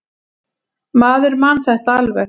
Maður man þetta alveg.